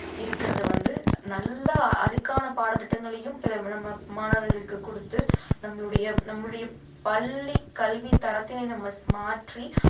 இருக்கிறது வந்து நல்லா அதுக்கான பாடத்திட்டங்களையும் நம்ம மாணவர்களுக்கு கொடுத்து நம்மளுடைய நம்மளுடைய பள்ளி கல்வித் தரத்தினை நம்ம மாற்றி